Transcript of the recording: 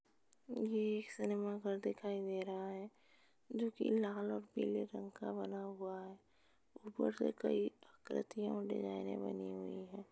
ये एक सिनेमा घर दिखाई दे रहा है जोकि लाल और पिले रंग का बना हुआ है ऊपर से कइ आक्रित्यां और डिज़ाइने बनी हुई हैं।